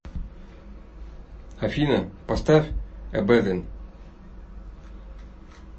афина поставь эбэдэн